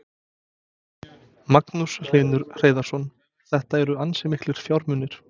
Magnús Hlynur Hreiðarsson: Þetta eru ansi miklir fjármunir?